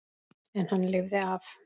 En hann lifði af.